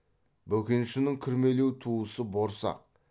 бөкеншінің кірмелеу туысы борсақ